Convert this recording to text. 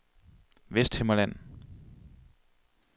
Vesthimmerland